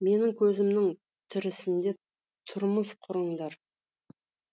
менің көзімнің тірісінде тұрмыс құрыңдар